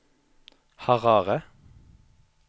Harare